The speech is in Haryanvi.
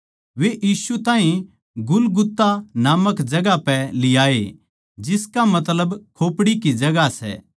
वे यीशु ताहीं गुलगुता नामक जगहां पै लियाए जिसका मतलब खोपड़ी की जगहां सै